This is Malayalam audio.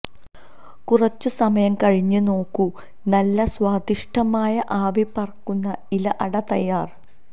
കുറച്ച് സമയം കഴിഞ്ഞ് നോക്കൂ നല്ല സ്വാദിഷ്ഠമായ ആവി പറക്കുന്ന ഇല അട തയ്യാര്